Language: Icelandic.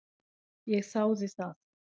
Ég þáði það.